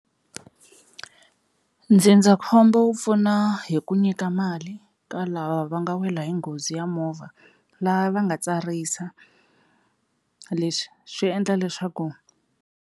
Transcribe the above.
Dzindzakhombo wu pfuna hi ku nyika mali ka lava va nga wela hi nghozi ya movha lava va nga tsarisa leswi swi endla leswaku.